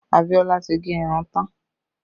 Abiola tí gẹ irun tán